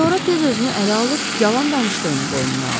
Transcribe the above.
Sonra tez özünü ələ alıb yalan danışdığını boynuna aldı.